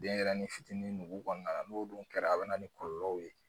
Denɲɛrɛnin fitinin nugu kɔnɔna na n'o dun kɛra a bɛ na ni kɔlɔlɔw ye